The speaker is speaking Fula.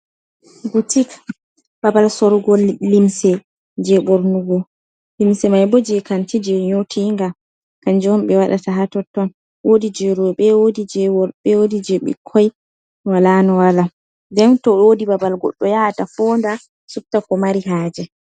Butik babal sorugo limse je ɓornugo, limse may bo jey kanti ,jey nyooti nga, kanjum himɓe waɗata haa totton. Woodi jey rowɓe woodi jey worɓe ,woodi jey bikkoy, walaa no walaa. Nden to woodi babal goɗɗo yahata fonnda subta ko mari haaje.